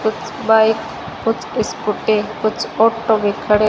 कुछ बाइक कुछ स्कूटी कुछ ऑटो भी खड़े --